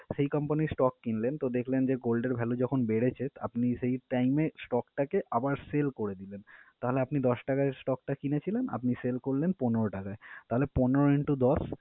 সেই company র stock কিনলেন, তো দেখলেন যে gold এর value যখন বেড়েছে আপনি সেই time এ stock টাকে আবার sale করে দিবেন। তাহলে আপনি দশ টাকায় stock টা কিনেছিলেন, আপনি sale করলেন পনেরো টাকায়। তাহলে পনেরো into দশ